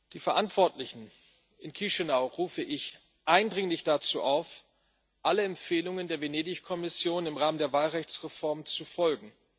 Die Verantwortlichen in Chișinău rufe ich eindringlich dazu auf, allen Empfehlungen der Venedig Kommission im Rahmen der Wahlrechtsreform zu folgen.